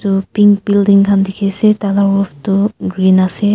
etu pink building khan dikhi ase tah lah roof tu green ase.